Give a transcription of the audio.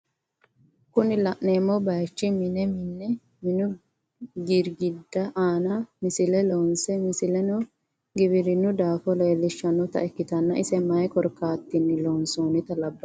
Kuni la'neemohu bayiichi mine minne minu girgiddi aana misile loonse misileno giwirinnu daafo lellishannota ikkitanna ise maye korkaatira loonsonnita labannohe?